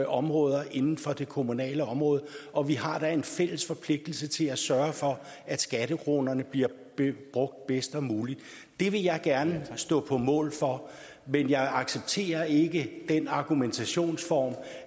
områder inden for det kommunale område og vi har da en fælles forpligtelse til at sørge for at skattekronerne bliver brugt bedst muligt det vil jeg gerne stå på mål for men jeg accepterer ikke den argumentationsform